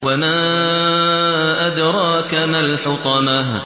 وَمَا أَدْرَاكَ مَا الْحُطَمَةُ